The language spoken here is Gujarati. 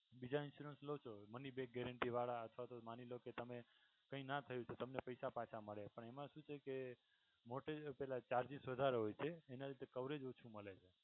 બીજા insurance લો છો moneyback garentee વાળા અથવા તો માની લો કે તમે કઈ ના થયું તો તમે પૈસા પાછા મળે અને એમા શું છે કે પેલા charges વધારે હોય તે એના લીધે coverage ઓછું મળે છે